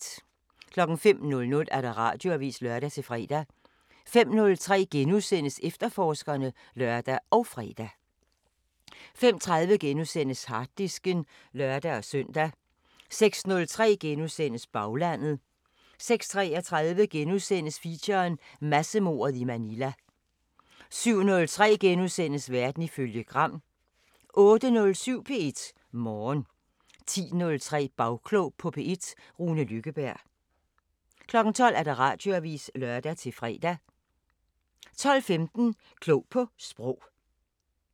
05:00: Radioavisen (lør-fre) 05:03: Efterforskerne *(lør og fre) 05:30: Harddisken *(lør-søn) 06:03: Baglandet * 06:33: Feature: Massemordet i Manila * 07:03: Verden ifølge Gram * 08:07: P1 Morgen 10:03: Bagklog på P1: Rune Lykkeberg 12:00: Radioavisen (lør-fre) 12:15: Klog på Sprog